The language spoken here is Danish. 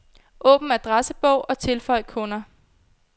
Åbn adressebog og tilføj kunder.